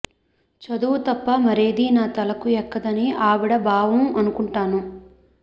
చదువు తప్ప మరేదీ నా తలకు ఎక్కదని ఆవిడ భావం అనుకుంటాను